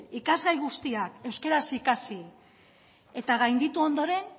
ikasgai guztiak euskaraz ikasi eta gainditu ondoren